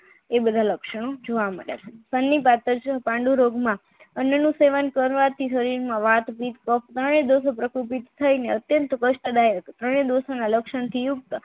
એ બધા લક્ષણો જોવા મળ્યા છે પાંડુરોગમાં અન્યનું સેવન કરવાથી શરીરમાં વાતપીત લક્ષણથી યુક્ત